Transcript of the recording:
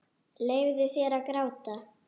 Leyfðu þér að gráta.